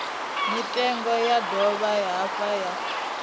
mitengo ya dovha hafhu ya